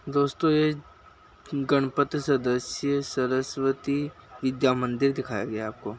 दोस्तों ये गणपति सदस्य सरस्वती विद्या मंदिर दिखाया गया आपको।